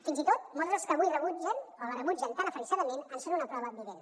fins i tot molts dels que avui la rebutgen tan aferrissadament en són una prova vivent